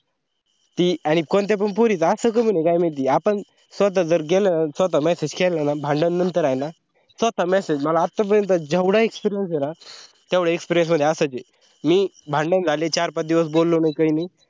ती आणि कोणत्या पण पोरींचा असा कौन आहे काय माहिती आपण स्वता जर गेल स्वता message केल न भांडण नंतर होईना स्वतः message मला आत्तापर्यंत जेवढा experience आहे ना तेवडा experience मढी असाच आता आहे मी भांडण झाले तर चार पांच दिवस बोललो नाही